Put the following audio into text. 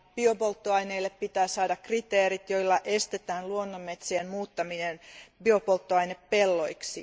Biopolttoaineille pitää saada kriteerit, joilla estetään luonnonmetsien muuttaminen biopolttoainepelloiksi.